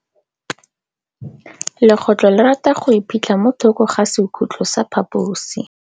Legôtlô le rata go iphitlha mo thokô ga sekhutlo sa phaposi.